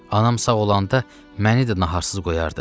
Anam sağ olanda məni də naharsız qoyardı.